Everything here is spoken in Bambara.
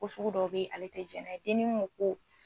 Ko sugu dɔw bɛ ye ale tɛ jɛn n'a ye dennin mun ko